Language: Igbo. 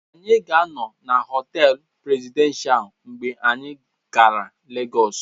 Anyị ga-anọ na họtel Presidential mgbe anyị gara Lagos.